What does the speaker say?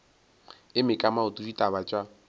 eme ka maoto ditaba tša